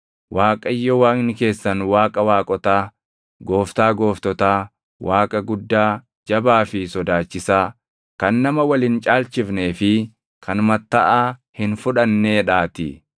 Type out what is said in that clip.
Waaqayyo Waaqni keessan Waaqa waaqotaa, Gooftaa gooftotaa, Waaqa guddaa, jabaa fi sodaachisaa, kan nama wal hin caalchifnee fi kan mattaʼaa hin fudhanneedhaatii.